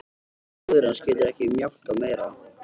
Móðir hans getur ekki mjólkað meira.